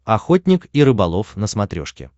охотник и рыболов на смотрешке